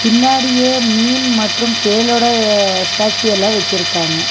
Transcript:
பின்னாடியே மீன் மற்றும் தேளோடய ஸ்டாச்சு எல்லா வச்சுருக்காங்க.